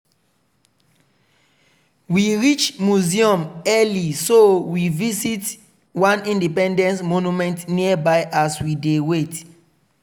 we reach museum early so we visit one independence monument nearby as we dey wait.